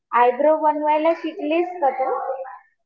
Eyebrow बनवायला शिकलीस का तू?